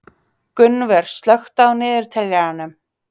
Gunnvör, slökktu á niðurteljaranum.